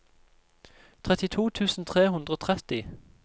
trettito tusen tre hundre og tretti